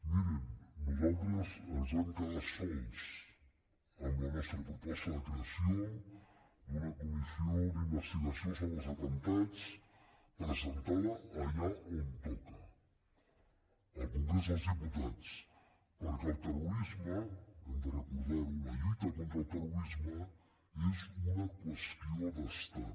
mirin nosaltres ens vam quedar sols amb la nostra proposta de creació d’una comissió d’investigació sobre els atemptats presentada allà on toca al congrés dels diputats perquè el terrorisme hem de recordar ho la lluita contra el terrorisme és una qüestió d’estat